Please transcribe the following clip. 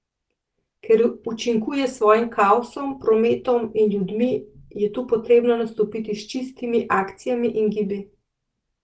Ker učinkuje s svojim kaosom, prometom in ljudmi, je tu potrebno nastopiti s čistimi akcijami in gibi.